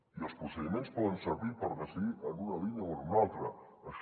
i els procediments poden servir per decidir en una línia o en una altra això